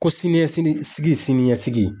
Ko siniɲɛ siniɲɛsigi